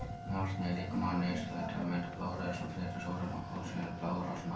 Járn er líkamanum nauðsynlegt til að mynda blóðrauða sem flytur súrefni og koltvíoxíð um blóðrásina.